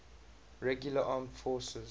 regular armed forces